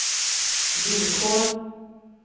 villkor